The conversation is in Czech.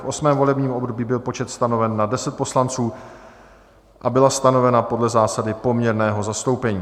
V 8. volebním období byl počet stanoven na 10 poslanců a byla stanovena podle zásady poměrného zastoupení.